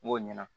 N b'o ɲɛna